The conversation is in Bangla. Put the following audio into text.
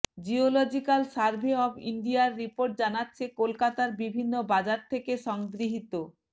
জিওলজিক্যাল সার্ভে অব ইন্ডিয়ার রিপোর্ট জানাচ্ছে কলকাতার বিভিন্ন বাজার থেকে সংগৃহীত